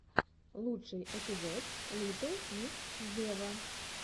лучший эпизод литтл микс вево